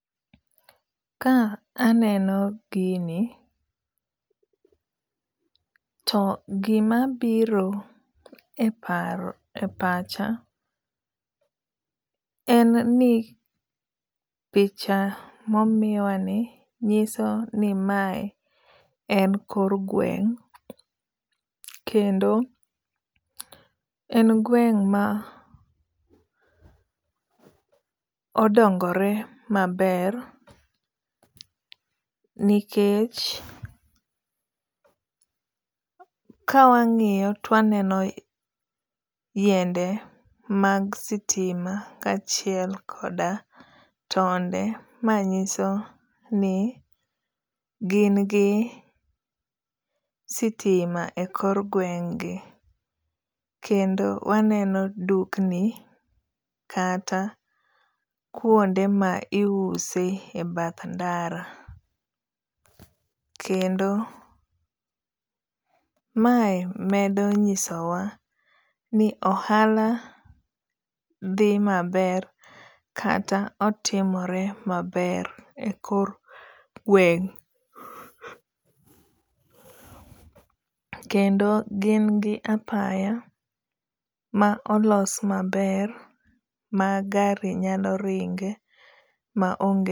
Ka aneno gini, to gima biro e paro e pacha en ni picha momiwa ni nyiso ni mae en kor gweng'. Kendo en gweng' ma odongore maber nikech ka wang'iyo to waneno yiende mag sitima ka achiel koda tonde. Ma nyiso ni gin gi sitima e kor gweng' gi. Kendo waneno dukni kata kuonde ma iuse e bath ndara. Kendo mae medo nyiso wa ni ohala dhi maber kata otimore maber e kor gweng'. Kendo gin gi apaya ma olos maber ma gari nyalo ringe ma onge.